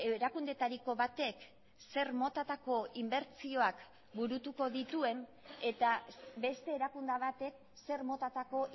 erakundetariko batek zer motatako inbertsioak burutuko dituen eta beste erakunde batek zer motatako